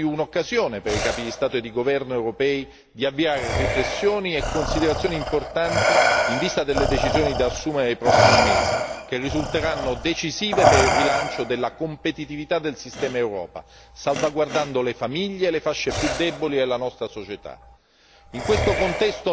La riunione di domani diventa quindi un'occasione per i capi di Stato e di governo europei di avviare riflessioni e considerazioni importanti in vista delle decisioni da assumere nei prossimi mesi, che risulteranno decisive per il rilancio della competitività del sistema Europa, salvaguardando le famiglie e le fasce più deboli della nostra società.